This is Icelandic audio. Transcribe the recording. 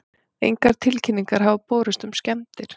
Engar tilkynningar hafa borist um skemmdir